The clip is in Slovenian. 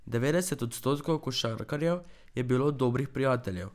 Devetdeset odstotkov košarkarjev je bilo dobrih prijateljev.